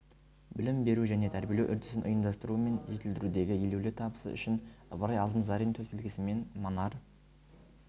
білім беру және тәрбиелеу үрдісін ұйымдастыру мен жетілдірудегі елеулі табысы үшін ыбырай алтынсарин төсбелгісімен манар